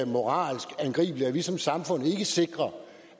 moralsk angribeligt at vi som samfund ikke sikrer